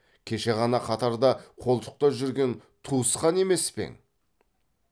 кеше ғана қатарда қолтықта жүрген туысқан емес пе ең